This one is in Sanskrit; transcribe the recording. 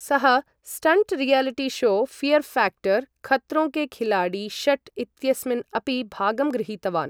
सः stunt reality show fear factor Khatron Ke Khiladi षट् इत्यस्मिन् अपि भागं गृहीतवान्।